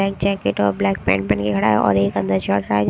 एक जैकेट और black pant पहन के खड़ा है और एक अंदर शर्ट --